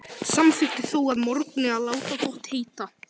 Samþykkti þó að morgni að láta gott heita.